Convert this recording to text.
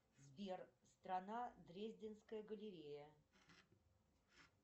сбер страна дрезденская галерея